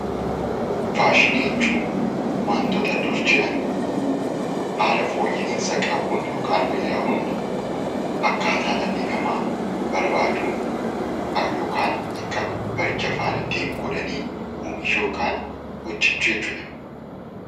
Faashinii jechuun wantoota dur jiran haala fooyya'insa qabuun yookaan wayyaa'uun akkaataa dhalli namaa barbaaduun yookaan akka baricha faana deemu godhanii oomishuu yookaan hojjachuu jechuudha.